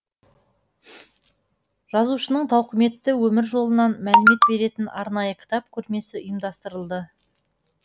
жазушының тауқыметті өмір жолынан мәлімет беретін арнайы кітап көрмесі ұйымдастырылды